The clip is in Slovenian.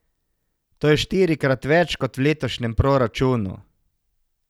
To je štirikrat več kot v letošnjem proračunu.